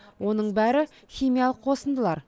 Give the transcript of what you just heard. оның бәрі химиялық қосындылар